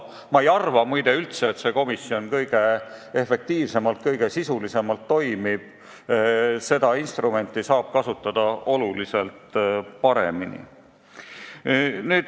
Ma ei arva muide üldse, et see komisjon kõige efektiivsemalt, kõige sisulisemalt toimib, seda instrumenti saaks kasutada oluliselt paremini.